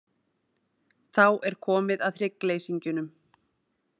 Þá er komið að hryggleysingjunum.